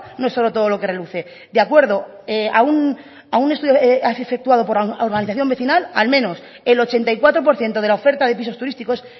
no es oro todo lo que reluce de acuerdo a un estudio efectuado por la organización vecinal al menos el ochenta y cuatro por ciento de la oferta pisos turísticos